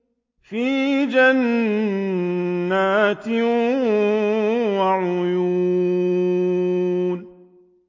فِي جَنَّاتٍ وَعُيُونٍ